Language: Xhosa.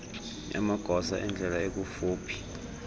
yamagosa endlela ekufuphi